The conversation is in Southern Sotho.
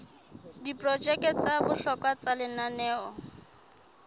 diprojeke tsa bohlokwa tsa lenaneo